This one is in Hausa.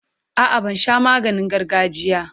A'a, ban sha maganin gargajiya.